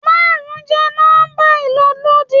Márùn-ún jẹ́ nọ́mbà ìlólòdí.